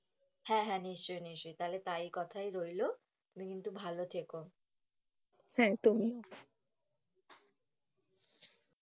হাঁ হাঁ নিশ্চই নিশ্চই তাহলে তাই কথাই রইলো তুমি কিন্তু ভালো থেকো, হাঁ, তুমিও।